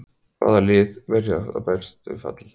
Hvaða lið verða að berjast við fall?